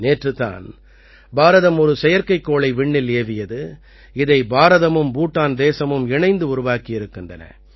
நேற்றுத் தான் பாரதம் ஒரு செயற்கைக்கோளை விண்ணில் ஏவியது இதை பாரதமும் பூட்டான் தேசமும் இணைந்து உருவாக்கியிருக்கின்றன